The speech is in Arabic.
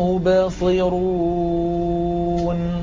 مُّبْصِرُونَ